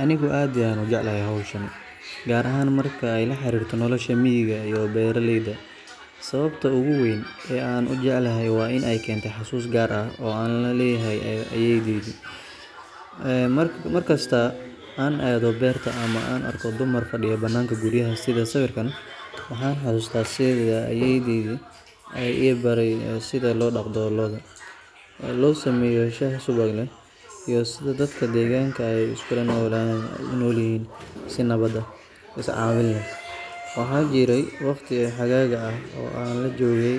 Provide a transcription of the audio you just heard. Anigu aad ayaan u jeclahay hawshan, gaar ahaan marka ay la xiriirto nolosha miyiga iyo beeraleyda. Sababta ugu weyn ee aan u jecelahay waa in ay keentay xasuus gaar ah oo aan la leeyahay ayeeydii. Mar kasta oo aan aado beerta ama aan arko dumar fadhiya bannaanka guryaha sida sawirkaan, waxaan xasuustaa sida ayeeydii ay ii baray sida loo dhaqdo lo’da, loo sameeyo shaah subag leh, iyo sida dadka deegaanka ay iskula noolaayeen si nabad ah, is caawin leh. Waxaa jiray waqti xagaaga ah oo aan la joogay,